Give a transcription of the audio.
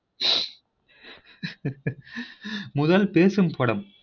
ஹ ஹ ஹ முதல் பேசும் படம்